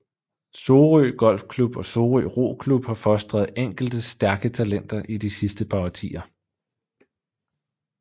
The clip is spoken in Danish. Sorø Golfklub og Sorø Roklub har fostret enkelte stærke talenter i de sidste par årtier